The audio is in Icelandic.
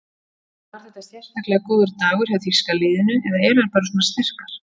En var þetta sérstaklega góður dagur hjá þýska liðinu eða eru þær bara svona sterkar?